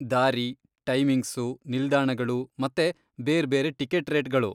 ದಾರಿ, ಟೈಮಿಂಗ್ಸು, ನಿಲ್ದಾಣಗಳು ಮತ್ತೆ ಬೇರ್ಬೇರೆ ಟಿಕೆಟ್ ರೇಟ್ಗಳು.